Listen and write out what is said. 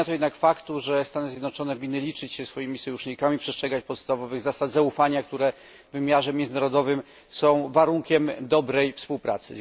Nie zmienia to jednak faktu, że Stany Zjednoczone winny liczyć się ze swoimi sojusznikami, przestrzegać podstawowych zasad zaufania, które w wymiarze międzynarodowym są warunkiem dobrej współpracy.